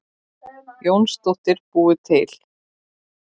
Jónsdóttir búið til.